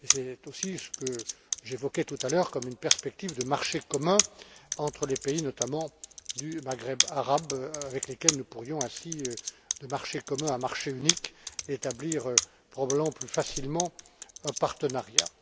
C'est aussi ce que j'évoquais tout à l'heure comme une perspective de marché commun entre les pays, notamment du Maghreb arabe, avec lesquels nous pourrions ainsi, de marché commun à marché unique, établir probablement plus facilement un partenariat.